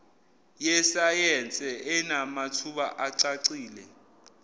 yesayense enamathuba acacile